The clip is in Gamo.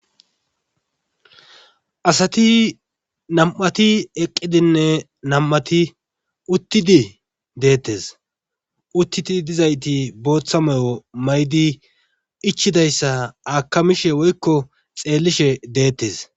Asati nam'ati eqqidinne nam'ati uttidi deetes. uttidi didayti boththa mayo mayidi ichchidayssa akkamishe woykko xeelishe deetees.